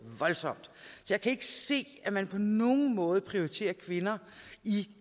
voldsomt jeg kan ikke se at man på nogen måde prioriterer kvinder i